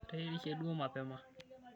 Ateyierishe duo mapema.